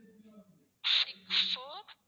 six four